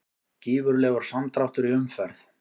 Gífurlegur samdráttur í umferð